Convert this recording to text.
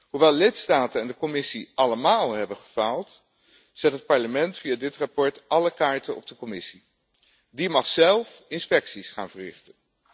Hoewel lidstaten en de Commissie allemaal hebben gefaald, zet het Parlement via dit verslag alle kaarten op de Commissie. Die mag zelf inspecties gaan verrichten.